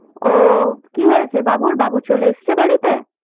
ওহ কি হয়েছে বাবুর বাবু চলে এসেছে বাড়িতে?